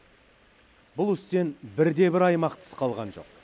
бұл істен бірде бір аймақ тыс қалған жоқ